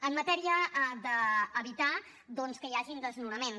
en matèria d’evitar doncs que hi hagin desnonaments